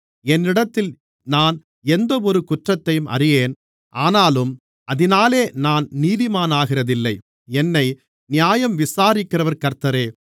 என்னிடத்தில் நான் எந்தவொரு குற்றத்தையும் அறியேன் ஆனாலும் அதினாலே நான் நீதிமானாகிறதில்லை என்னை நியாயம் விசாரிக்கிறவர் கர்த்தரே